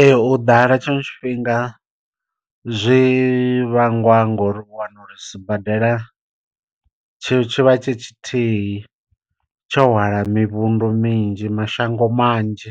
Ee u ḓala tshiṅwe tshifhinga zwi vhangwa ngori u wana uri sibadela tshi tshivha tshi tshithihi tsho hwala mivhundu minzhi mashango manzhi.